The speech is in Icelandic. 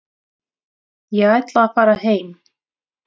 Ég ætla að fara heim.